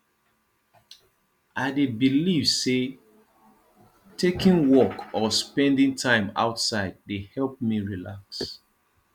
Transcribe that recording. i dey believe say taking walk or spending time outdoors dey help me relax